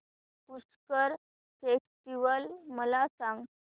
Pushkar festival मला सांग